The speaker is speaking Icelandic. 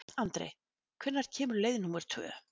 Andri, hvenær kemur leið númer tvö?